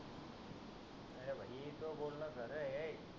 हे त बोलण खर आहे